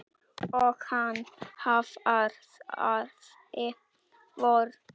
Og hann hraðaði för.